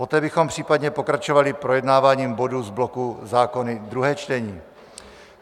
Poté bychom případně pokračovali projednáváním bodů z bloku zákony druhé čtení.